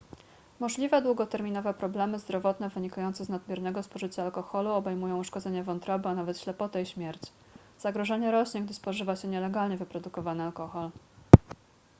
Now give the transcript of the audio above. możliwe długoterminowe problemy zdrowotne wynikające z nadmiernego spożycia alkoholu obejmują uszkodzenie wątroby a nawet ślepotę i śmierć zagrożenie rośnie gdy spożywa się nielegalnie wyprodukowany alkohol